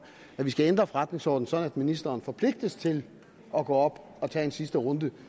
at vi skal ændre forretningsordenen sådan at ministeren forpligtes til at gå op og tage en sidste runde